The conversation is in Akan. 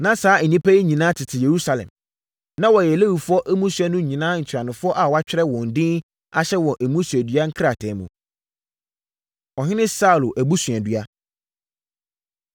Na saa nnipa yi nyinaa tete Yerusalem. Na wɔyɛ Lewifoɔ mmusua no nyinaa ntuanofoɔ a wɔatwerɛ wɔn din ahyɛ wɔn mmusuadua krataa mu. Ɔhene Saulo Abusuadua